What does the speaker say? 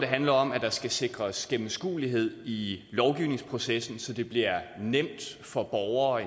handler om at der skal sikres gennemskuelighed i lovgivningsprocessen så det bliver nemt for borgere